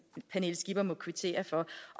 skipper må kvittere for